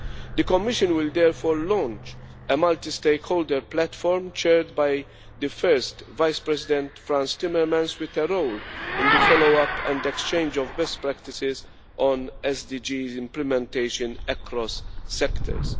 The Commission will therefore launch a multi stakeholder platform chaired by the First Vice President, Frans Timmermans, with a role in the follow up and exchange of best practices on SDG implementation across sectors.